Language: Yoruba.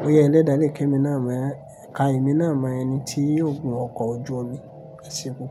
bóyá ẹlẹ́dà lè kí èmi náà mọ̀, ká èmi náà mọ ẹni tí yóò gun ọkọ̀ ojú omi, ẹ ṣe pupo.